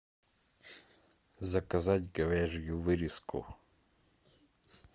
заказать говяжью вырезку